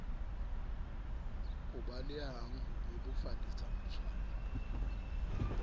o balehang ho bebofaletsa motshwai